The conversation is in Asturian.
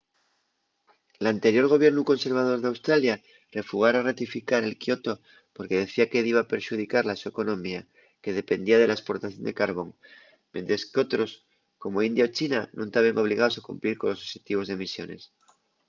l'anterior gobiernu conservador d'australia refugara ratificar el kyoto porque decía que diba perxudicar la so economía que dependía de la esportación de carbón mientres qu'otros como india o china nun taben obligaos a cumplir colos oxetivos d'emisiones